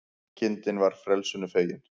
Kindin var frelsinu fegin